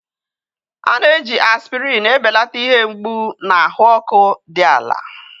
a na-eji aspirin ebelata ihe mgbu na ahụ ọkụ dị ala.